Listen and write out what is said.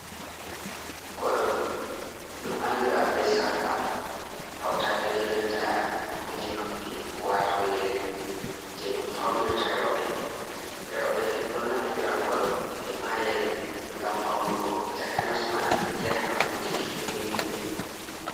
Koɗol ɗum anndira be sarka, hawtaade be nanta kuje noppi waato yeri. Jey ɗum fawnirta rowɓe. Rowɓe ɗo naftira koɗol e ma yeri ngam fawnugo takanasma yaha nokkuuje kimmiɗiniɗe.